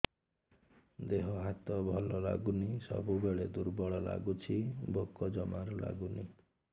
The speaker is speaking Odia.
ଦେହ ହାତ ଭଲ ଲାଗୁନି ସବୁବେଳେ ଦୁର୍ବଳ ଲାଗୁଛି ଭୋକ ଜମାରୁ ଲାଗୁନି